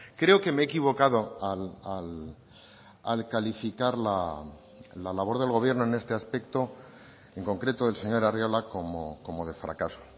creo que me he equivocado al calificar la labor del gobierno en este aspecto en concreto el señor arriola como de fracaso